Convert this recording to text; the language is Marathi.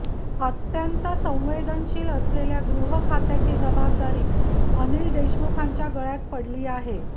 अत्यंत संवेदनशील असलेल्या गृहखात्याची जबाबदारी अनिल देशमुखांच्या गळ्यात पडली आहे